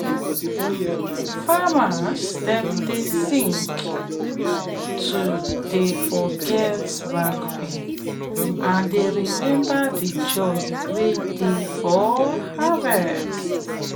farmers dem dey sing to dey forget back pain and dey remember de joy wey dey for harvest